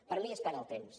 per mi és perdre el temps